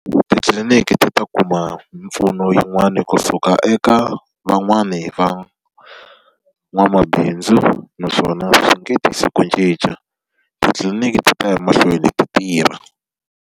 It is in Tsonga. Titliliniki ti ta kuma mpfuno yin'wani kusuka eka van'wani van'wamabindzu, naswona swi nge tisi ku cinca. Titliliniki ti ta ya mahlweni ti tirha.